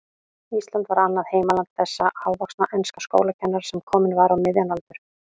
Ísland var annað heimaland þessa hávaxna enska skólakennara, sem kominn var á miðjan aldur.